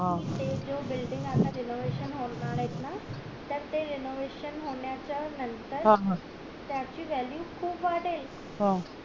कारण कि ते जो building आता renovation होणार येत ना तर ते renovation होण्या च्या नंतर त्याची value खूप वाढेल